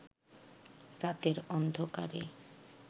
রাতের অন্ধকারে